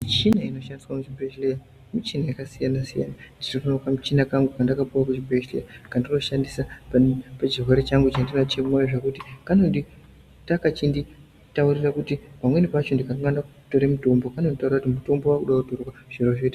Mishina inoshandiswa muzvibhedhlera mishina yakasiyana siyana. Nditoriwo nekamushina kangu kandakapiwa kuchibhedhlera kandinoshandisa pachirwere changu chandinacho zvekuti kanoita kachinditaurira kuti pamweni pacho ndikakanganwa kutora mutombo kanonditaurirra kuti mutombo wakude kutorwa zviro zvoite zvakanaka.